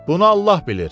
Bunu Allah bilir.